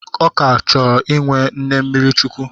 Ọ ka na-achọ inwe nne mmiri chukwu.